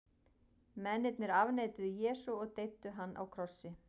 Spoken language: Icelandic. Mennirnir afneituðu Jesú og deyddu hann á krossi.